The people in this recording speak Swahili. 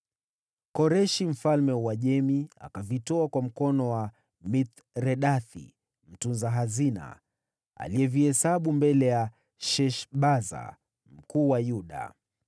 Koreshi mfalme wa Uajemi akavitoa kwa mkono wa Mithredathi mtunza hazina, aliyevihesabu mbele ya Sheshbaza mkuu wa Yuda.